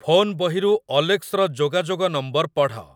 Phone ବହିରୁ ଅଲେକ୍ସର ଯୋଗାଯୋଗ ନମ୍ବର ପଢ଼।